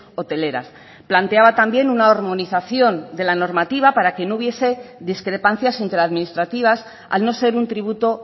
hoteleras planteaba también una armonización de la normativa para que no hubiese discrepancias entre administrativas al no ser un tributo